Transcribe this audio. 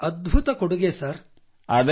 ತುಂಬಾ ಅದ್ಭುತ ಕೊಡುಗೆ ಸರ್